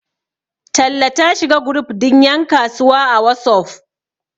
talle ta shiga group din yankasuwa a wasof